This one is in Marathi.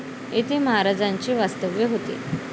येथे महाराजांचे वास्तव्य होते.